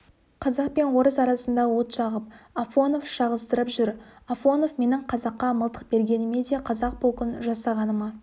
қазақ пен орыс арасында от жағып афонов шағыстырып жүр афонов менің қазаққа мылтық бергеніме де қазақ полкін жасағаныма